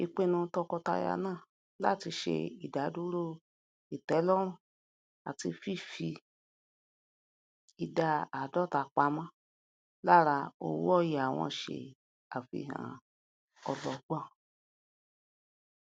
ìpinnu tọkọtaya náà láti ṣe ìdadúró ìtẹlọrun àti fífi um ìdá áàdọta pamọ lára owóòyà wọn se àfihàn ọlọgbọn